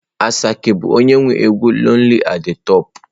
Asake bu onye nwe egwu 'lonely at the top'.